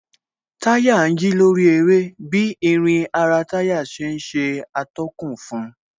Táyà ń yí lórí eré bí irin ara táyà ṣe ń ṣe atọ́kùn fun